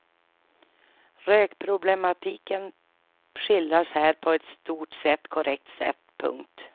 Rökproblematiken skildras här på ett i stort sett korrekt sätt. punkt